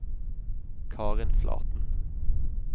Karin Flaten